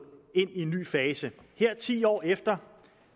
ind i en ny fase her ti år efter